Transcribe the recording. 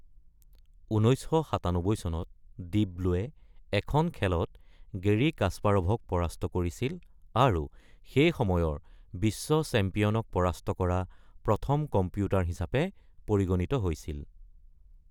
১৯৯৭ চনত ডিপ ব্লুৱে এখন খেলত গেৰী কাস্পাৰভক পৰাস্ত কৰিছিল আৰু সেই সময়ৰ বিশ্ব চেম্পিয়নক পৰাস্ত কৰা প্ৰথম কম্পিউটাৰ হিচাপে পৰিগণিত হৈছিল।